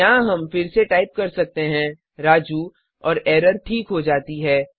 यहाँ हम फिर से टाइप कर सकते हैं राजू और एरर ठीक हो जाती है